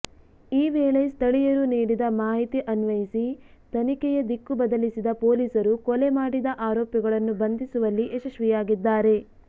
ಈ ವೇಳೆ ಸ್ಥಳೀಯರು ನೀಡಿದ ಮಾಹಿತಿ ಅನ್ವಯಿಸಿ ತನಿಖೆಯ ದಿಕ್ಕು ಬದಲಿಸಿದ ಪೊಲೀಸರು ಕೊಲೆ ಮಾಡಿದ ಆರೋಪಿಗಳನ್ನು ಬಂಧಿಸುವಲ್ಲಿ ಯಶಸ್ವಿಯಾಗಿದ್ದಾರೆ